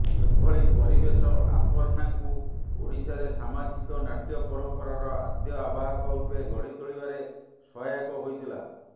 ଏଭଳି ପରିବେଶ ଆପନ୍ନାଙ୍କୁ ଓଡିଶାରେ ସାମାଜିକ ନାଟ୍ୟ ପରମ୍ପରାର ଆଦ୍ୟ ଆବାହକ ରୂପେ ଗଢି ତୋଳିବାରେ ସହାୟକ ହୋଇଥିଲା